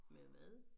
Med hvad